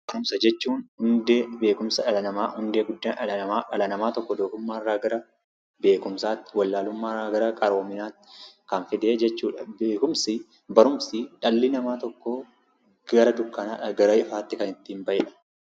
Barumsa jechuun hundee beekkumsa dhala namaa hundee guddaa dhala tokko doofummaarraa gara beekkumsaatti, wallaaluummaarraa gara qaroominaatti kan fidee jechuudha. Beekumsii barumsi dhalli namaa tokko gara dukkanaadhaa gara ifaatti ittiin bahedha.